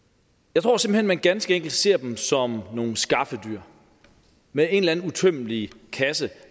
jeg tror simpelt man ganske enkelt ser dem som nogle skaffedyr med en eller anden uudtømmelig kasse